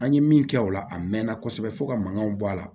An ye min kɛ o la a mɛnna kosɛbɛ fo ka mankanw bɔ a la